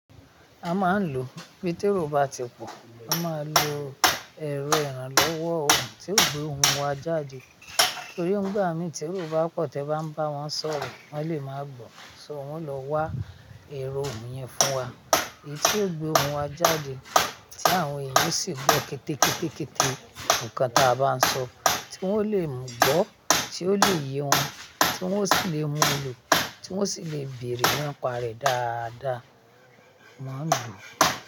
A máa ń lo níbi térò bá ti pọ̀, a máa lo èrò ìrànlọ́wọ́ ohùn tí yóò gbé ohùn wa jáde. Nítorí nígbà mí tí èrò bá pọ̀ tí ẹ bá ń bá wọn sọ̀rọ̀, wọ́n lè máa gbọ́. So wọ́n lọ wá èrò ohùn yẹn fún wa, èyí tí ó gbé ohùn wa jáde tí àwọn ènìyàn sì gbọ́ kétékétékété nǹkan tí a bá ń sọ, tí wọ́n lè mú gbọ́, tí ó lè yé wọn, tí wọ́n sì lè mú ló, tí wọ́n sì lè bèrè ní pa rè dáadáa, a maa n lo.